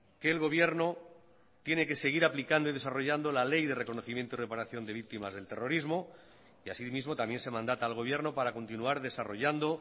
que el gobierno tiene que seguir aplicando y desarrollando la ley de reconocimiento y reparación de víctimas del terrorismo y así mismo también se mandata al gobierno para continuar desarrollando